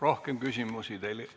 Rohkem küsimusi teile ...